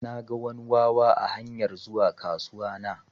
Naga wani wawa a hanyar zuwa kasuwa na.